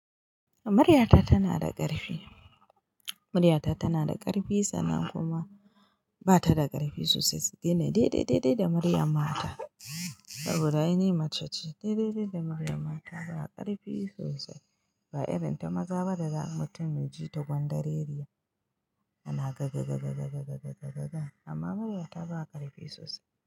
Muryata tana da ƙarfi, muryata tana da ƙarfi sannan kuma bata da ƙarfi sosai ita ne daidaidai da muryan mata saboda ai ni mace ce, daidai da muryan mata ba ƙarfi sosai ba irin ta maza daza mutum yaji ta gwandareri ya, yana gaga gaga gaga ba amma muryata ba ƙarfi sosai.